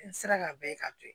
N sera ka bɛɛ ka to yen